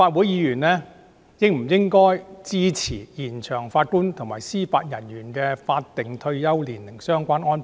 這些都是延展法官及司法人員的退休年齡的理由。